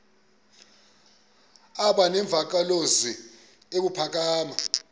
aba nemvakalozwi ebuphakama